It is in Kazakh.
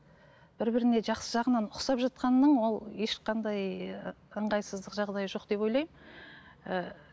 бір біріне жақсы жағынан ұқсап жатқанның ол ешқандай ыңғайсыздық жағдайы жоқ деп ойлаймын ііі